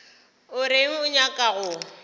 o reng o nyaka go